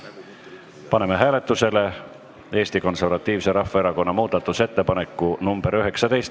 Paneme hääletusele Eesti Konservatiivse Rahvaerakonna muudatusettepaneku nr 19.